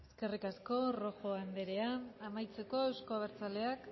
eskerrik asko rojo andrea amaitzeko euzko abertzaleak